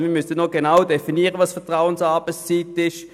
Wir müssten also noch genauer definieren, was Vertrauensarbeitszeit ist;